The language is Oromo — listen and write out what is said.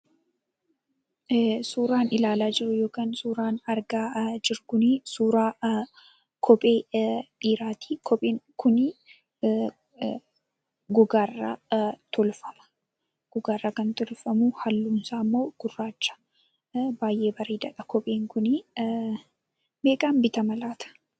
Suuraan ilaala jirru yookan, suuraan argaa jirru suuraa kophee dhiirati. Kopheen kun gogarraa tolfama. Gogarraa kan tolfamu kunimmo halluunsaa gurracha. baay'ee bareedadha kopheen kunii ,Meeqan bitama laata?